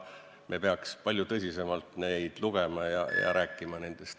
Me peaks palju tõsisemalt seda lugema ja sellest rääkima.